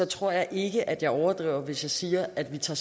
tror jeg ikke at jeg overdriver hvis jeg siger at vi tager